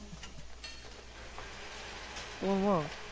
তোমার মা